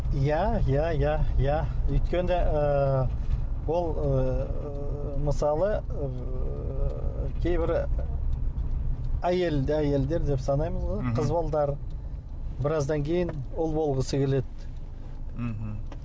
иә иә иә иә өйткені ыыы бұл ыыы мысалы ыыы кейбір әйел әйелдер деп санаймыз ғой қыз балалар біраздан кейін ұл болғысы келеді мхм